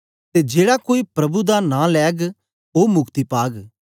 ते जेड़ा कोई प्रभु दा नां लैग ओ मुक्ति पाग